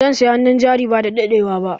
Zan siya hannun jari badadaɗewa ba.